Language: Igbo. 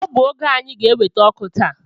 Ọ bụ oge anyị ga enweta ọkụ taa